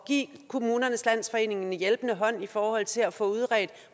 give kommunernes landsforening en hjælpende hånd i forhold til at få udredt